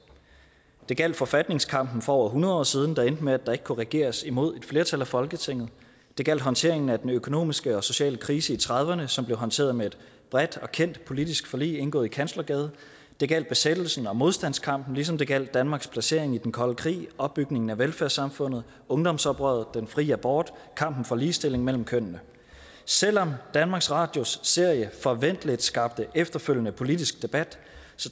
det gjaldt forfatningskampen for over hundrede år siden der endte med at der ikke kunne regeres imod et flertal i folketinget det gjaldt håndteringen af den økonomiske og sociale krise i nitten trediverne som blev håndteret med et bredt og kendt politisk forlig indgået i kanslergade det gjaldt besættelsen og modstandskampen ligesom det gjaldt danmarks placering i den kolde krig opbygningen af velfærdssamfundet ungdomsoprøret den fri abort og kampen for ligestilling mellem kønnene selv om danmarks radios serie forventeligt skabte efterfølgende politisk debat